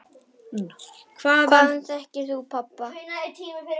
Hvaðan þekkti hún pabba?